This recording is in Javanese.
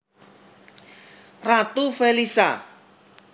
Ratu Felisha